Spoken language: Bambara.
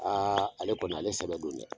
Aa ale kɔni , ale sɛbɛ don dɛ !